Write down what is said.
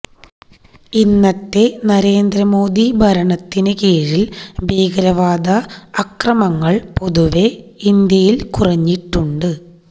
ഇന്നത്തെ നരേന്ദ്രമോദി ഭരണത്തിന്കീഴില് ഭീകരവാദ അക്രമങ്ങള് പൊതുവെ ഇന്ത്യയില് കുറഞ്ഞിട്ടുണ്ട്